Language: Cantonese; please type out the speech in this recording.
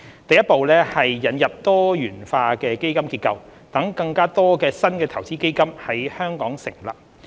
第一步是引入多元化基金結構，讓更多新的投資基金在香港成立。